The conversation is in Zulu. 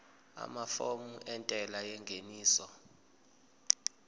amafomu entela yengeniso